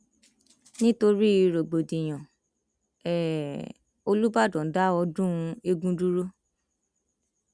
nítorí rògbòdìyàn um olùbdan dá ọdún eegun dúró